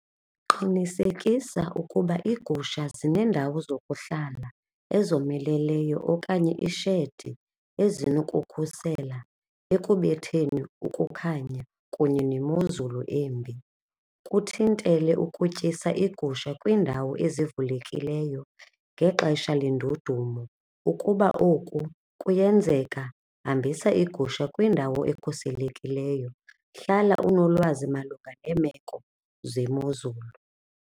Qinisekisa ukuba iigusha zineendawo zokuhlala ezomeleleyo okanye ishedi ezinokukhusela ekubetheni ukukhanya kunye nemozulu embi. Kuthintele ukutyisa iigusha kwiindawo ezivulekileyo ngexesha lendudumo, ukuba oku kuyenzeka hambisa iigusha kwindawo ekhuselekileyo, hlala unolwazi malunga neemeko zemozulu.